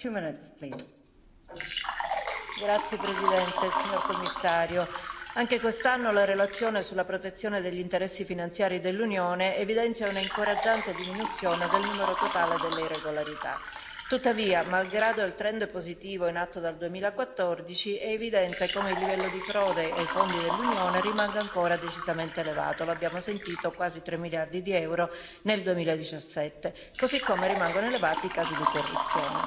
Signora Presidente, onorevoli colleghi, signor Commissario, anche quest'anno la relazione sulla protezione degli interessi finanziari dell'Unione evidenzia un'incoraggiante diminuzione del numero totale delle irregolarità. Tuttavia, malgrado il trend positivo in atto dal 2014, è evidente come il livello di frode ai fondi dell'Unione rimanga ancora decisamente elevato lo abbiamo sentito quasi tre miliardi di euro nel 2017 così come rimangono elevati i casi di corruzione.